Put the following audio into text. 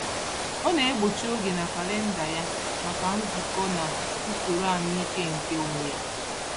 Ọ na-egbochi oge na kalịnda ya maka nzukọ na usoro ahụike nke onwe ya.